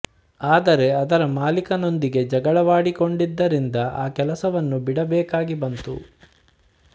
ಆದರೆ ಅದರ ಮಾಲೀಕನೊಂದಿಗೆ ಜಗಳವಾಡಿಕೊಂಡಿದ್ದರಿಂದ ಆ ಕೆಲಸವನ್ನು ಬಿಡಬೇಕಾಗಿ ಬಂತು